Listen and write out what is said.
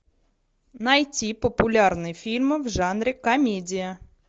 найти популярные фильмы в жанре комедия